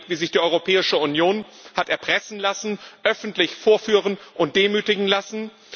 Wir haben erlebt, wie sich die Europäische Union hat erpressen, öffentlich vorführen und demütigen lassen.